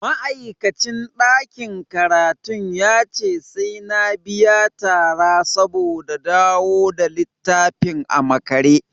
Ma'aikacin ɗakin karatun yace sai na biya tara saboda dawo da littafin a makare.